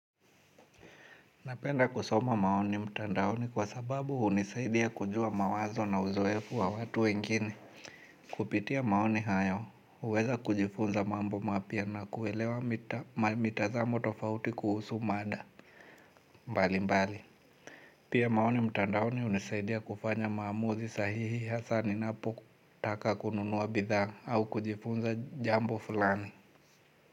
Napenda kusoma maoni mtandaoni kwa sababu hunisaidia kujua mawazo na uzoefu wa watu wengine. Kupitia maoni hayo, huweza kujifunza mambo mapya na kuelewa mitazamo tofauti kuhusu mada. Mbalimbali. Pia maoni mtandaoni hunisaidia kufanya maamuzi sahihi hasa ninapo taka kununua bidhaa au kujifunza jambo fulani.